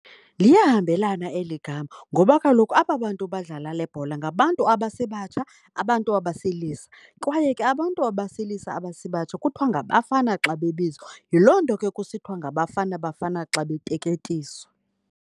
Liyahambelana eli gama ngoba kaloku aba bantu badlala le bhola ngabantu abasebatsha, abantu abesilisa kwaye ke abantu abesilisa abasebatsha kuthiwa ngabafana xa bebizwa. Yiloo nto ke kusithiwa ngaBafana Bafana xa beteketiswa.